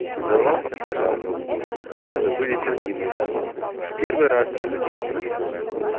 сдавался пожар голубой позабылись родимые дали в первый раз я запел про любовь